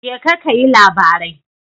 Jeka kayi labarai.